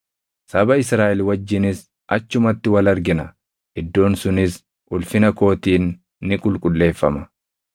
saba Israaʼel wajjinis achumatti wal argina; iddoon sunis ulfina kootiin ni qulqulleeffama.